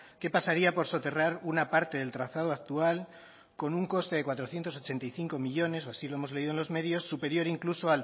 que pasaría por soterrar una parte del trazado actual con un coste de cuatrocientos ochenta y cinco millónes o así lo hemos leído en los medios superior incluso